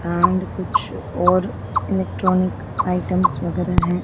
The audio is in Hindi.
एंड कुछ और इलेक्ट्रॉनिक आइटम्स वगैरह है।